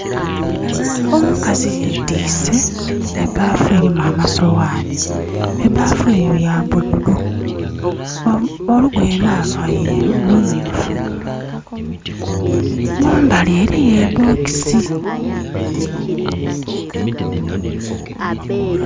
Omukazi yetiise ebaafu elimu amasoghaani. Ebaafu eyo ya bululu. Olugoye lwavaile lumyuufu. Mumbali eliyo e bokisi.